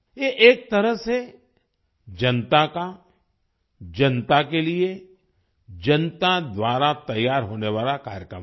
ये एक तरह से जनता का जनता के लिए जनता द्वारा तैयार होने वाला कार्यक्रम है